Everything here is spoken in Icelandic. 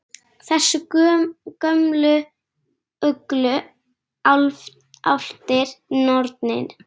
Þessar gömlu uglur, álftir, nornir?